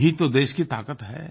यही तो देश की ताकत है